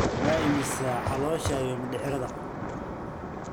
Waa imisa caloosha iyo mindhicirrada?